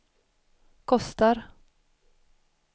kostar